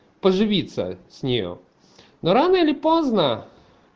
поживиться с нее но рано или поздно